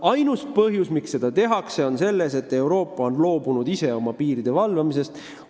Ainus põhjus, miks seda tuleb teha, on see, et Euroopa on loobunud ise oma piire valvamast.